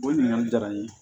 O ɲininkali diyara n ye